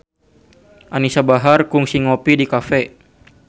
Anisa Bahar kungsi ngopi di cafe